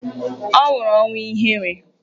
Ọ nwụrụ ọnwụ ihere.